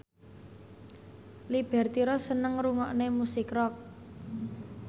Liberty Ross seneng ngrungokne musik rock